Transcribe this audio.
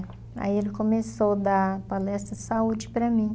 Aí ele começou a dar palestra saúde para mim.